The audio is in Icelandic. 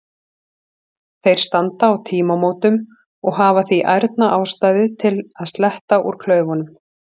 Þeir standa á tímamótum og hafa því ærna ástæðu til að sletta úr klaufunum.